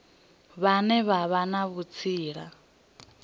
vhane vha vha na vhutsila